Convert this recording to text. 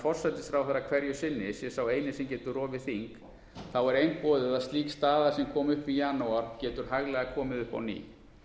forsætisráðherra hverju sinni sé sá eini sem getur rofið þing þá er einboðið að slík staða sem kom upp í janúar getur hæglega komið upp á ný